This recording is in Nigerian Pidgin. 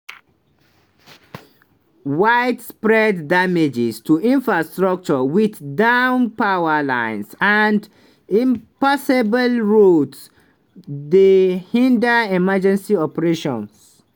widespread damage to infrastructure - wit down power lines and impassable road- dey hinder emergency operations.